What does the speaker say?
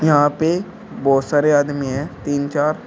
यहां पे बहोत सारे आदमी है तीन चार।